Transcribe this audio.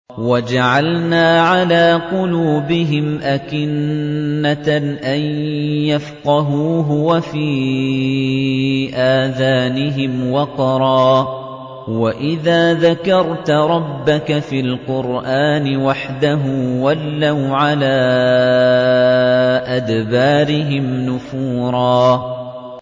وَجَعَلْنَا عَلَىٰ قُلُوبِهِمْ أَكِنَّةً أَن يَفْقَهُوهُ وَفِي آذَانِهِمْ وَقْرًا ۚ وَإِذَا ذَكَرْتَ رَبَّكَ فِي الْقُرْآنِ وَحْدَهُ وَلَّوْا عَلَىٰ أَدْبَارِهِمْ نُفُورًا